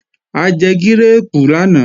A jẹ gírèèpù lánàá